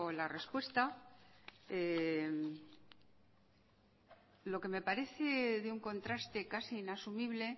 la respuesta lo que me parece de un contraste casi inasumible